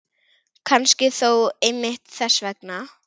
Kannski þó einmitt þess vegna.